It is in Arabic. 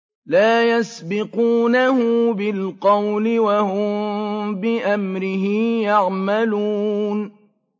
لَا يَسْبِقُونَهُ بِالْقَوْلِ وَهُم بِأَمْرِهِ يَعْمَلُونَ